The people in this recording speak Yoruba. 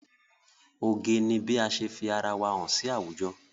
Oge ni bí ase fi ara wa hàn sí àwùjọ.